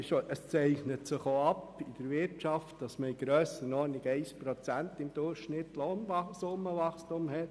Auch zeichnet sich in der Wirtschaft ein Lohnsummenwachstum in der Höhe von durchschnittlich 1 Prozent ab.